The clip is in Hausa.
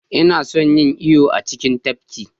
Ina son yin iyo a cikin tafkin